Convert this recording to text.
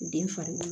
Den fari